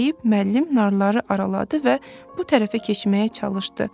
deyib müəllim narları araladı və bu tərəfə keçməyə çalışdı.